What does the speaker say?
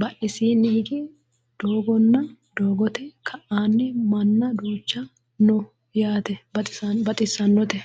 badhesiinni higge doogonna doogote ka'anni minna duucha no yaate baxissannote